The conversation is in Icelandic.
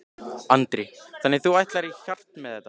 Andri: Þannig að þú ætlar í hart með þetta?